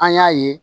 An y'a ye